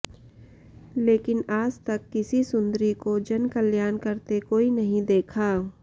लेकिन आज तक किसी सुंदरी को जनकल्याण करते कोई नहीं देखा